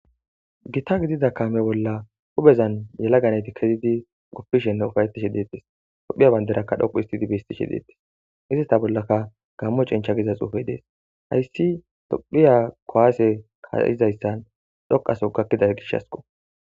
Gita gidida kaame bolla huuphezan yelaga nayti kezidi guppishenne ufayetishe deettes. Tophiya bandirakka dhoqqu histidi bestishe deettes. Izeta bollaka gammo cencha giza xuufey dees. Hayssi tophiya kuwaase kaa7izayssan dhoqaso gakkida gishasko.